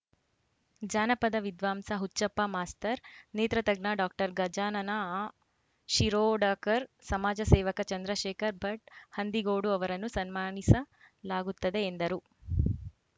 ಜಾನಪದ ವಿದ್ವಾಂಸ ಹುಚ್ಚಪ್ಪ ಮಾಸ್ತರ್‌ ನೇತ್ರತಜ್ಞ ಡಾಕ್ಟರ್ ಗಜಾನನ ಶಿರೋಡಕರ್‌ ಸಮಾಜ ಸೇವಕ ಚಂದ್ರಶೇಖರ್‌ ಭಟ್‌ ಹಂದಿಗೋಡು ಅವರನ್ನು ಸನ್ಮಾನಿಸಲಾಗುತ್ತದೆ ಎಂದರು